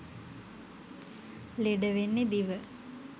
ලෙඩ වෙන්නේ දිව.